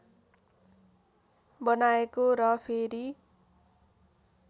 बनाएको र फेरि